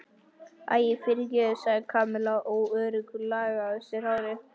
Æi, fyrirgefðu sagði Kamilla óörugg og lagaði á sér hárið.